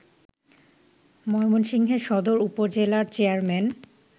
ময়মনসিংহের সদর উপজেলার চেয়ারম্যান